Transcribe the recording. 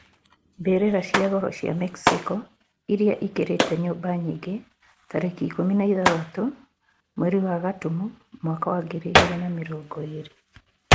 Mbirira cia goro cia Mexico iria ikirite nyumba nyingi tariki ikumi na ithathatu mweri wa Gatumu mwaka wa ngiri igiri na mirongo iri